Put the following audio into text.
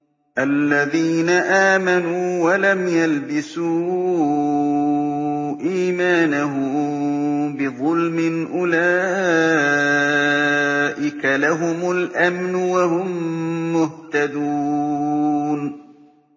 الَّذِينَ آمَنُوا وَلَمْ يَلْبِسُوا إِيمَانَهُم بِظُلْمٍ أُولَٰئِكَ لَهُمُ الْأَمْنُ وَهُم مُّهْتَدُونَ